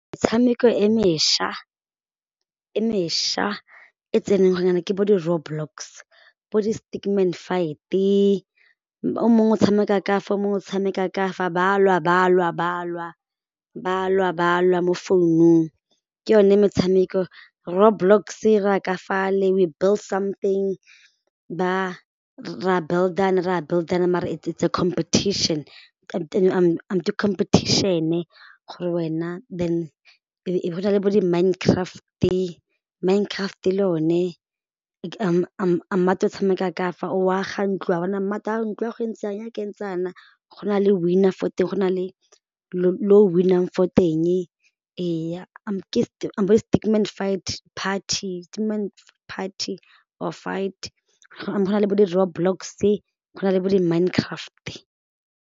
Metshameko e mešwa, e mešwa e tseneng gone jaana ke bo di roadblocks bo di stickman fight-e o mongwe o tshameka ka fa o mongwe o tshameka ka fa ba lwa ba lwa ba lwa ba lwa ba lwa mo founung, ke yone metshameko road blocks e ra ka fale, we build something ba, ra build-ana ra build-ana mara it's a competition, ke competition-e gore wena, then e bo go nna le bo di mind craft-e, mind craft le yone, o tshameka ka fa o aga ntlo ntlo ya go e ntse jang ya ka e ntse jaana, go na le winner foo teng go na le lo win-ang fo teng ee ke bo stickman fight party, stikckman party or figh go na le bo di road blocks-e go na le bo di mind craft-e.